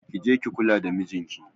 Ki je ki kula da mijinki.